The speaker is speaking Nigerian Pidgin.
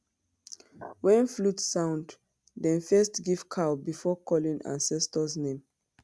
when flute sound dem first give cow before calling ancestors name.